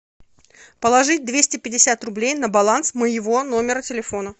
положить двести пятьдесят рублей на баланс моего номера телефона